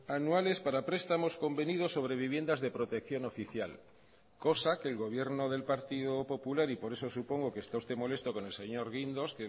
anuales para prestamos convenidos sobre viviendas de protección oficial cosa que el gobierno del partido popular y por eso supongo que está usted molesto con el señor guindos